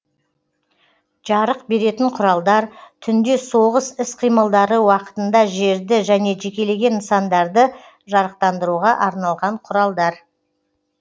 жарық беретін құралдар түнде соғыс іс қимылдары уақытында жерді және жекелеген нысандарды жарықтандыруға арналған құралдар